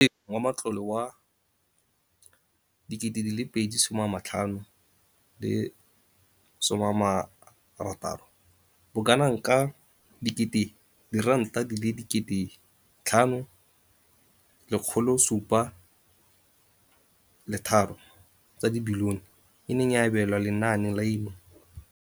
Mo ngwageng wa matlole wa 2015-16, bokanaka R5 703 bilione e ne ya abelwa lenaane leno.